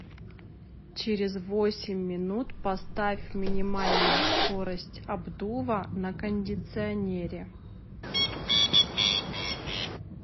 через восемь минут поставь минимальную скорость обдува на кондиционере